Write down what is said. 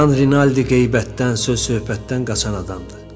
Jan Rinaldi qeybətdən, söz söhbətdən qaçan adamdır.